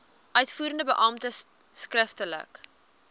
uitvoerende beampte skriftelik